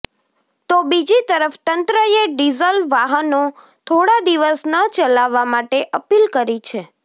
તો બીજી તરફ તંત્રએ ડીઝલ વાહનો થોડા દિવસ ન ચલાવવા માટે અપીલ કરી છે